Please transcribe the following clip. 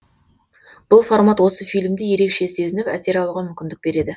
бұл формат осы фильмді ерекше сезініп әсер алуға мүмкіндік береді